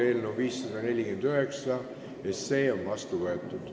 Eelnõu 549 on seadusena vastu võetud.